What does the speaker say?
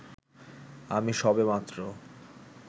আমি সবেমাত্র